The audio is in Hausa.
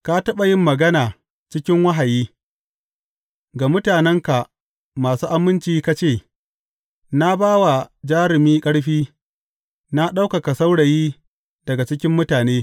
Ka taɓa yin magana cikin wahayi, ga mutanenka masu aminci ka ce, Na ba wa jarumi ƙarfi; na ɗaukaka saurayi daga cikin mutane.